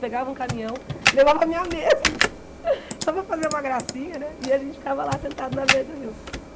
Pegava um caminhão, levava a minha mesa, só para fazer uma gracinha, e a gente ficava lá sentado na beira do rio.